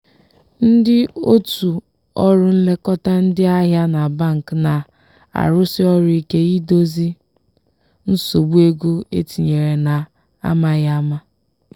ndị otu ọrụ nlekọta ndị ahịa na bank na-arụsi ọrụ ike idozi nsogbu ego etinyere na amaghị ama.